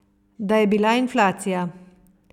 Da je bila inflacija.